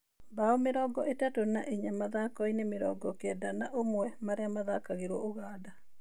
Bao mĩrongo ĩtatũ na ĩnya mathako-inĩ mĩrongo kenda na ũmwe marĩa mathakagĩrwo Ũganda.